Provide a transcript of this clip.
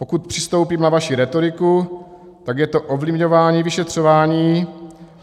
Pokud přistoupím na vaši rétoriku, tak je to ovlivňování vyšetřování.